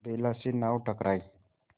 बेला से नाव टकराई